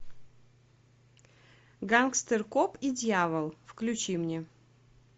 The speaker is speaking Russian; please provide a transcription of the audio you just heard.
гангстер коп и дьявол включи мне